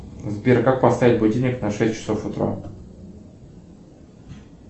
сбер как поставить будильник на шесть часов утра